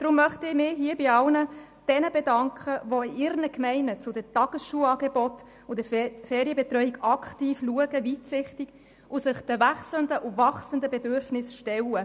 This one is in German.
Deshalb möchte ich mich bei all jenen bedanken, die in ihren Gemeinden die Tagesschulen und die Ferienbetreuungsangebote aktiv unterstützen und sich den verändernden und wachsenden Bedürfnissen stellen.